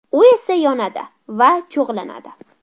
U esa yonadi va cho‘g‘lanadi.